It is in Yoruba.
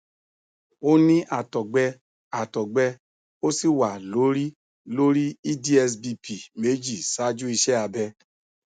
ó ní àtọgbẹ àtọgbẹ ó sì wà lórí lórí eds bp méjì ṣáájú iṣẹ abẹ